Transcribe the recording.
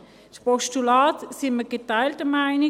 Betreffend Postulat sind wir geteilter Meinung;